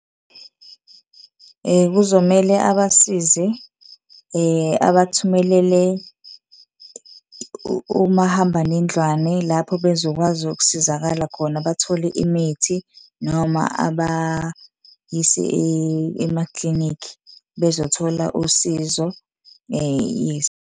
Kuzomele abasize abathumelele omahambanendlwane lapho bezokwazi ukusizakala khona, bathole imithi noma abayise emaklinikhi bezothola usizo yes.